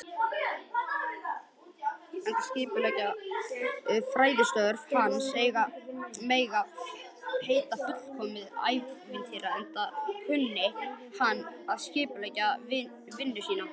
Fræðistörf hans ein mega heita fullkomið ævistarf, enda kunni hann að skipuleggja vinnu sína.